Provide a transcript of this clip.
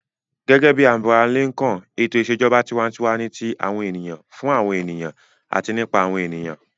Gẹ́gẹ́ bí Abraham Lincoln, ètò ìṣèjọba tiwantiwa ni ti àwọn ènìyàn, fún àwọn ènìyàn àti nípa àwọn ènìyàn.